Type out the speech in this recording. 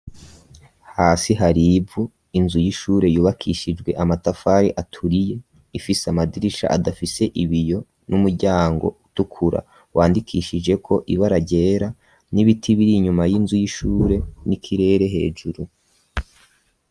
Hasi haribu inzu y'ishure yubakishijwe amatafari aturiye ifise amadirisha adafise ibiyo n'umuryango utukura wandikishijeko iba araryera n'ibiti biri inyuma y'inzu y'ishure n'ikirere hejuru.